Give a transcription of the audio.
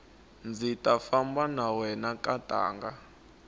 ndzi ta famba na wena nkatanga